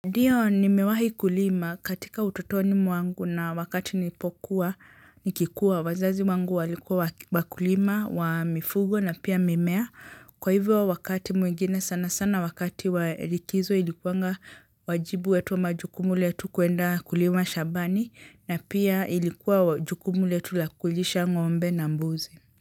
Ndiyo nimewahi kulima katika utotoni mwangu na wakati nilipokuwa nikikuwa wazazi wangu walikuwa wakulima wa mifugo na pia mimea, kwa hivyo wakati mwingine sana sana wakati wa likizo ilikuanga wajibu wetu wa majukumu letu kuenda kulima shambani na pia ilikuwa jukumu letu la kulisha ng'ombe na mbuzi.